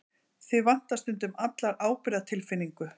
Þig vantar stundum alla ábyrgðartilfinningu.